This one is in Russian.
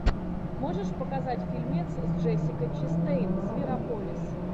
можешь показать фильмец с джессикой честейн зверополис